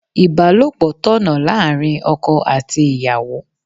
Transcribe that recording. Ibalopo tọ̀nà láàárín ọkọ àti ìyàwó.